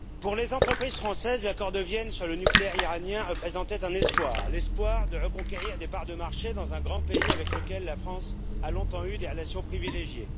Monsieur le Président, pour les entreprises françaises, l'accord de Vienne sur le nucléaire iranien représentait un espoir, celui de reconquérir des parts de marché dans un grand pays avec lequel la France a longtemps eu des relations privilégiées.